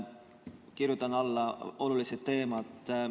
Kirjutan alla – need on olulised teemad.